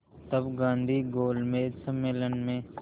तब गांधी गोलमेज सम्मेलन में